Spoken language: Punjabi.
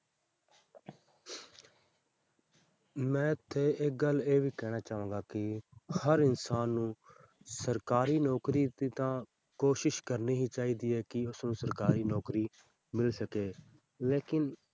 ਮੈਂ ਇੱਥੇ ਇੱਕ ਗੱਲ ਇਹ ਵੀ ਕਹਿਣਾ ਚਾਹਾਂਗਾ ਕਿ ਹਰ ਇਨਸਾਨ ਨੂੰ ਸਰਕਾਰੀ ਨੌਕਰੀ ਤੇ ਤਾਂ ਕੋਸ਼ਿਸ਼ ਕਰਨੀ ਹੀ ਚਾਹੀਦੀ ਹੈ ਕਿ ਉਸਨੂੰ ਸਰਕਾਰੀ ਨੌਕਰੀ ਮਿਲ ਸਕੇ ਲੇਕਿੰਨ